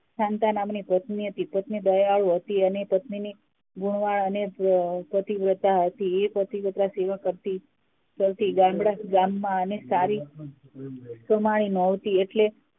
Santa નામની પત્ની હતી પત્ની દયાળુ હતી પત્ની ની ગુણવાન અને પતિવ્રતા હતી એ પ્રતીવતા સેવા કરતી ગામમાં એને સારી કમાણી ની મળતી એટલે